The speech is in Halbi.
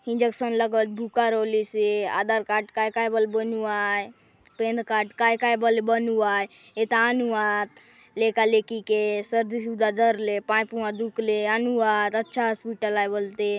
इंजेक्शन लगल भूका रहुलिस हे आधार कार्ड काय काय बल बनुवाय पेन कार्ड काय काय बल बनुवाय एता नुवाद लेका लेकि सर्दी सुदा धर ले पाय पुआ दुख ले अनुआद अच्छा हॉस्पिटल आय बल ते।